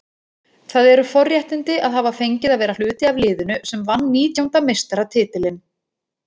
Það eru forréttindi að hafa fengið að vera hluti af liðinu sem vann nítjánda meistaratitilinn.